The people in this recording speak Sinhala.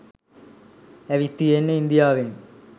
ඇවිත් තියෙන්නෙ ඉන්දියවෙන්.